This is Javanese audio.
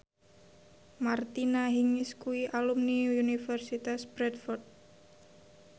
Martina Hingis kuwi alumni Universitas Bradford